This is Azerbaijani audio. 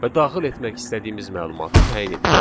Və daxil etmək istədiyimiz məlumatı təyin edirik.